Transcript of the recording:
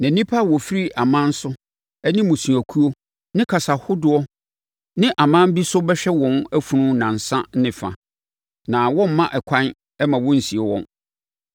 Na nnipa a wɔfiri aman so ne mmusuakuo ne kasa ahodoɔ ne aman bi so bɛhwɛ wɔn afunu nnansa ne fa, na wɔremma ɛkwan mma wɔnsie wɔn.